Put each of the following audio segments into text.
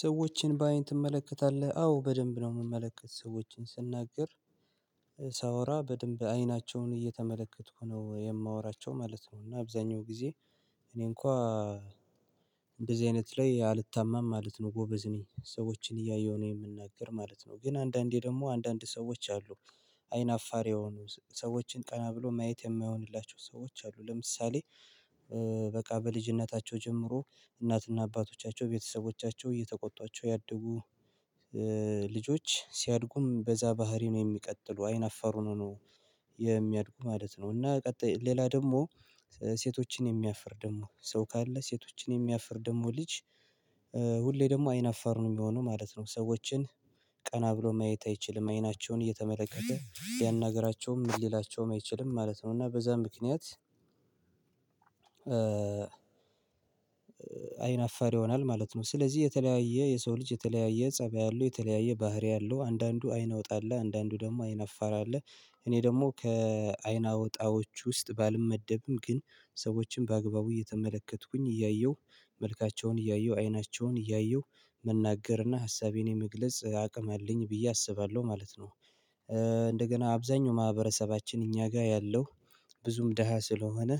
ሰዎችን በአይን ትመለከታለህ አዎ በደንብ ነው የምመለከት ሰዎችን ስናገር ሳወራ በደንብ አይናቸውን እየተመለከትኩ ነው የማወራቸው ማለት ነው። እና አብዛኛው ጊዜ እኔ እንኳ እንደዚህ አይነት ላይ አልታማም ማለት ነው። ጎበዝ ነኝ ሰዎችን እያየሁ ነው የምናገር ማለት ነው። ግን አንዳንዴ ደግሞ አንዳንድ ሰዎች አሉ አይን አፋር የሆኑ ሰዎችን ቀና ብሎ ማየት የማይሆንላቸው ሰዎች አሉ። ለምሳሌ በቃ በልጅነታቸው ጀምሮ እናትና አባቶቻቸው ቤተሰቦቻቸው እየተቆጧቸው ያድጉ ልጆች ሲያድጉም በዛ ባህሪ ነው የሚቀጥሉ አይን አፋር ሆነው ነው የሚያድጉ ማለት ነው። እና ቀጣይ ሌላ ደግሞ ሴቶችን የሚያፍር ደግሞ ሰው ካለ ሴቶችን የሚያፍር ደግሞ ልጅ ሁሌ ደግሞ አይን አፋር ነው የሚሆነው ማለት ነው። ሰዎችን ቀና ብሎ ማየት አይችልም አይናቸውን እየተመለከተ ሊያናግራቸውም ምን ሊላቸውም አይችልም ማለት ነው እና በዛ ምክንያት አይን አፋር ይሆናል ማለት ነው። ስለዚህ የተለያየ የሰው ልጅ የተለያየ ፀባይ አለው የተለያየ ባህሪ አለው። አንዳንዱ አይን አውጣ አለ አንዳንዱ ደግሞ አይን አፋር አለ። እኔ ደግሞ ከአይን አውጣዎች ውስጥ ባልመደብም ግን ሰዎችን በአግባቡ እየተመለከትኩኝ እያየሁ መልካቸውን እያየሁ አይናቸውን እያየሁ መናገርና ሀሳቤን የመግለጽ አቅም አለኝ ብዬ አስባለሁ ማለት ነው። እንደገና አብዛኛው ማህበረሰባችን እኛ ጋር ያለው ብዙም ደሃ ስለሆነ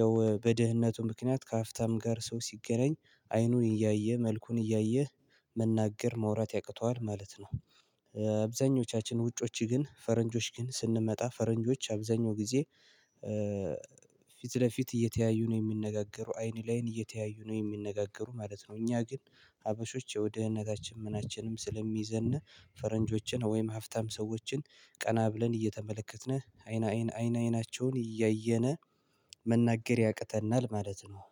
ያው በድህነቱ ምክንያት ከሀብታም ጋር ሰው ሲገናኝ አይኑን እያየ መልኩን እያየ መናገር መውራት ያቅተዋል ማለት ነው። አብዛኞቻችን ውጮች ግን ፈረንጆች ግን ስንመጣ ፈረንጆች አብዛኛው ጊዜ ፊት ለፊት እየተያዩ ነው የሚነጋገሩ አይን ለአይን እየተያዩ ነው የሚነጋገሩ ማለት ነው። እኛ ግን ሀበሾች ያው ድህነታችን ምናችንም ስለሚይዘን ፈረንጆችን ወይም ሀብታም ሰዎችን ቀና ብለን እየተመለከትን አይን አይናቸውን እያየነ መናገር ያቅተናል ማለት ነው።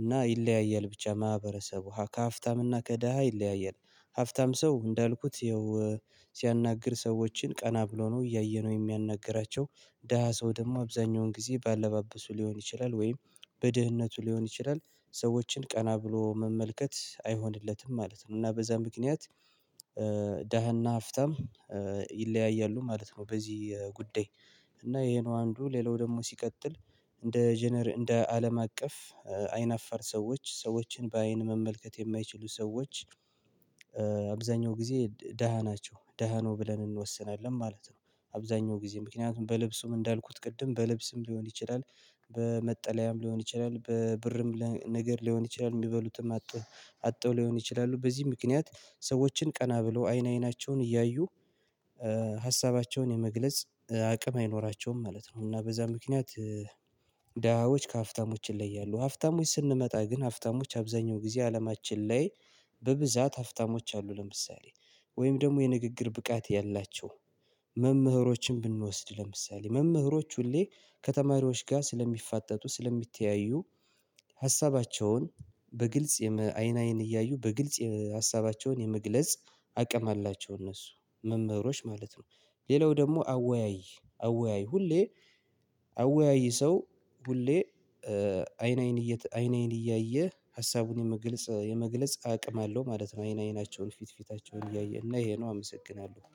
እና ይለያያል ብቻ ማህበረሰብ ከሀብታም እና ከደሃ ይለያያል ሀብታም ሰው እንዳልኩት ያው ሲያናግር ሰዎችን ቀና ብሎ ነው እያየ ነው የሚያናግራቸው። ደሃ ሰው ደግሞ አብዛኛውን ጊዜ በአለባበሱ ሊሆን ይችላል ወይም በድህነቱ ሊሆን ይችላል ሰዎችን ቀና ብሎ መመልከት አይሆንለትም ማለት ነው። እና በዛ ምክንያት ደሃና ሀብታም ይለያያሉ ማለት ነው። በዚህ ጉዳይ እና ይሄ ነው አንዱ ሌላው ደግሞ ሲቀጥል እንደ እንደ አለም አቀፍ አይን አፈር ሰዎች ሰዎችን በአይን መመልከት የማይችሉ ሰዎች አብዛኛው ጊዜ ደሃ ናቸው ደሃ ነው ብለን እንወስናለን ማለት ነው። አብዛኛው ጊዜ ምክንያቱም በልብሱም እንዳልኩት ቅድም በልብስም ሊሆን ይችላል በመጠለያም ሊሆን ይችላል በብርም ነገር ሊሆን ይችላል የሚበሉትም አጠው አጥተው ሊሆን ይችላሉ በዚህ ምክንያት ሰዎችን ቀና ብለው አይን አይናቸውን እያዩ ሀሳባቸውን የመግለጽ አቅም አይኖራቸውም ማለት ነው። እና በዛ ምክንያት ደሃዎች ከሀብታሞች ይለያሉ ሀብታሞች ስንመጣ ግን ሀብታሞች አብዛኛው ጊዜ አለማችን ላይ በብዛት ሀብታሞች አሉ። ለምሳሌ ወይም ደግሞ የንግግር ብቃት ያላቸው መምህሮችን ብንወስድ ለምሳሌ መምህሮች ሁሌ ከተማሪዎች ጋር ስለሚፋጠጡ ስለሚተያዩ ሀሳባቸውን በግልጽ አይን አይን እያዩ በግልጽ ሀሳባቸውን የመግለጽ አቅም አላቸው። እነሱ መምህሮች ማለት ነው ሌላው ደግሞ አወያይ አወያይ ሁሌ አወያይ ሰው ሁሌ አይን አይን እየተ አይን አይን እያየ ሀሳቡን የመግለጽ የመግለጽ አቅም አለው ማለት ነው። አይን አይናቸውን ፊት ፊታቸውን እያየ እና ይሄ ነው አመሰግናለሁ